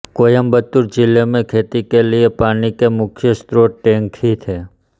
कोयंबटूर जिले में खेती के लिए पानी के मुख्य स्रोत टैंक ही थे